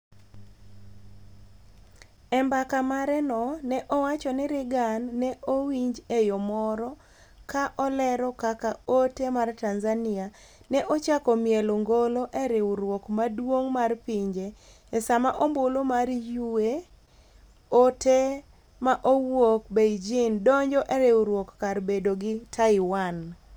E mbaka mare no ne owacho ni Reagan ne owinj e yo moro ka olero kaka ote mar Tanzania ne ochako mielo ngolo e riwruok maduong’ mar pinje e sama ombulu mar yue ote ma owuok Beijing donjo e riwruok kar bedo gi Taiwan